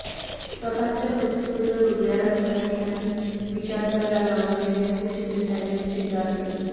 स्वतः च्या मृत्यूबद्दल हदयाला भिडणारी आणि विचार करायला लावणारी व्यंगचित्रे त्यांनी चितारली